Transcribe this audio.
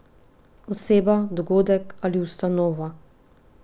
Oseba, dogodek ali ustanova?